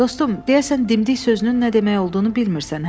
Dostum, deyəsən dimdik sözünün nə demək olduğunu bilmirsən, hə?